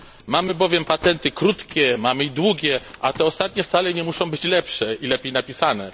Mamy bowiem patenty krótkie, mamy długie, a te ostatnie wcale nie muszą być lepsze i lepiej napisane.